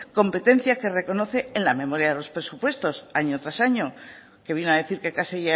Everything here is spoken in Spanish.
competencia que reconoce en la memoria de los presupuestos año tras año que vino a decir que casi